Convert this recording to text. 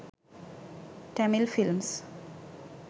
tamil films